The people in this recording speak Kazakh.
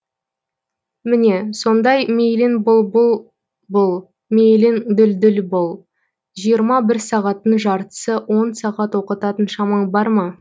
міне сондай мейлің бұлбұл бұл мейлің дүлдүл бұл жиырма бір сағаттың жартысы он сағат оқытатын шамаң бар ма